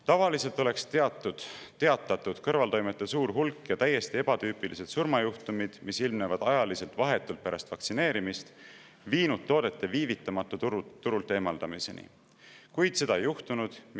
Tavaliselt oleks teatatud kõrvaltoimete suur hulk ja täiesti ebatüüpilised surmajuhtumid, mis ilmnevad vahetult pärast vaktsineerimist, viinud toote viivitamatu turult eemaldamiseni, kuid seda ei juhtunud.